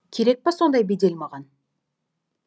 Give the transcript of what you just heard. керек па сондай бедел маған